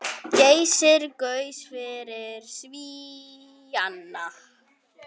Geysir gaus fyrir Svíana.